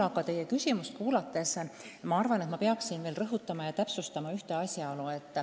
Aga teie küsimuse peale ma arvan, et peaksin veel rõhutama ja täpsustama ühte asjaolu.